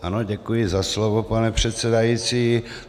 Ano, děkuji za slovo, pane předsedající.